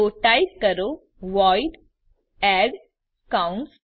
તો ટાઈપ કરો void add કૌંસ